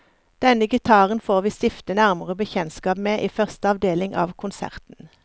Denne gitaren får vi stifte nærmere bekjentskap med i første avdeling av konserten.